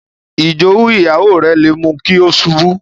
Ijowu Ìyàwó rẹ̀ lè mú kí ó ṣubú